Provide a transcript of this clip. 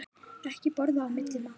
Ekki borða á milli mála.